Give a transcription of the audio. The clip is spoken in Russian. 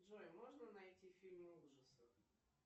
джой можно найти фильмы ужасов